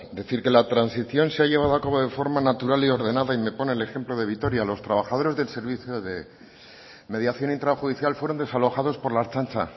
decir que la transición se ha llevado a cabo de forma natural y ordenada y me pone el ejemplo de vitoria los trabajadores del servicio de mediación intrajudicial fueron desalojados por la ertzaintza